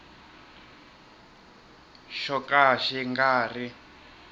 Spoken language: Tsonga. xo ka xi nga ri